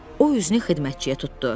O üzünü xidmətçiyə tutdu.